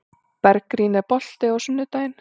Bergrín, er bolti á sunnudaginn?